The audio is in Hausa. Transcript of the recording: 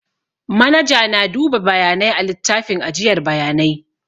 Manaja na duba bayanai a littafin ajiyar bayanai